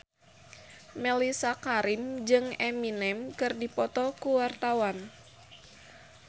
Mellisa Karim jeung Eminem keur dipoto ku wartawan